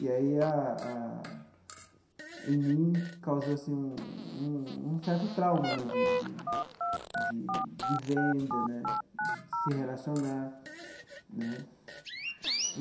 E aí a a, em mim, causou assim um um certo trauma né de de de de venda né, de se relacionar né.